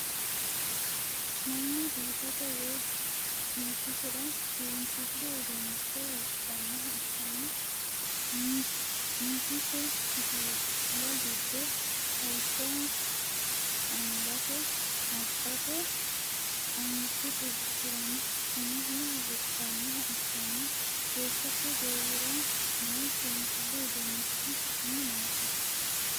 Manu biifate yee bisisira seensilu uduunicho wodhanoha ikanna misisi kifilla gido lawishaho angate, maccate, angichu qubichiranna umoho wodhanoha ikanna beettote goowira noo seensilu uduunnichi su'mi maati?